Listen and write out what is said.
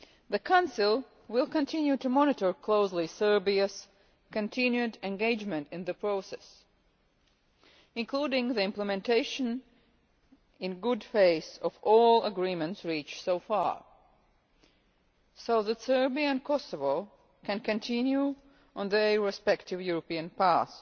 The Council will continue to monitor closely Serbia's continued engagement in the process, including the implementation in good faith of all agreements reached so far, so that Serbia and Kosovo can continue on their respective European